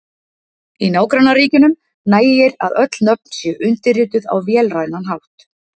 Í nágrannaríkjunum nægir að öll nöfn séu undirrituð á vélrænan hátt.